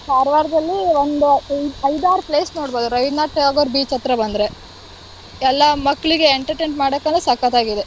ಕಾರವಾರದಲ್ಲಿ ಒಂದು ಐದಾರ್ place ನೋಡ್ಬೋದು, ರವೀಂದ್ರನಾಥ್ ಠಾಗೋರ್ beach ಹತ್ರ ಬಂದ್ರೆ ಎಲ್ಲಾ ಮಕ್ಳಿಗೆ entertain ಮಾಡಕ್ಕೆಲ್ಲ ಸಕ್ಕತ್ತಾಗಿದೆ